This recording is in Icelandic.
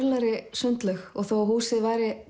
sundlaug og þó að húsið